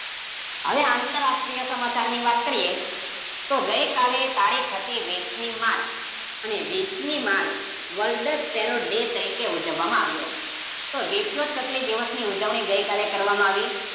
હવે અતરાષ્ટ્રીય સમાચારની વાત કર્યે, તો ગઈકાલે તારીખ હતી વિસમી માર્ચ. અને વિસમી માર્ચ વર્લ્ડ સ્પેરો ડે તરીકે ઉજવામાં આવ્યો. તો વિશ્વ ચકલી દિવસની ઉજવણી ગઈકાલે કરવામાં આવી.